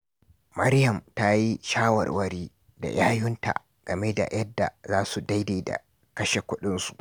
Maryam ta yi shawarwari da yayunta game da yadda za su daidaita kashe kudinsu.